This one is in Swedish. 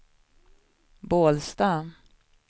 Bålsta